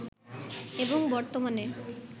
এবং বর্তমানে